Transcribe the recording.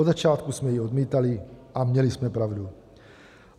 Od začátku jsme ji odmítali a měli jsme pravdu.